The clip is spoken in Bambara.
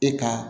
E ka